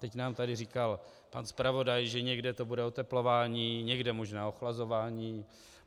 Teď nám tady říkal pan zpravodaj, že někde to bude oteplování, někde možná ochlazování.